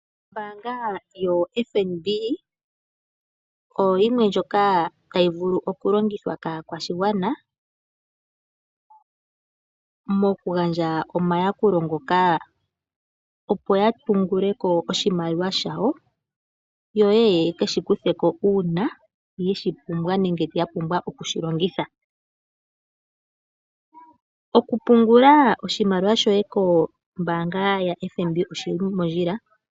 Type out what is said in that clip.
Oombaanga yoFNB oyo yimwe ndjoka tayivulu okulongitwa kaakwashigwana. Mokugandja omayakulo ngoka opo yapunguleko oshimaliwa shawo, yo oyekeshikuthe uuna yeshipumbwa nenge yapumbwa okushilongitha. Okupungula oshimaliwa shoye kombaanga yaFNB oshili mondjila.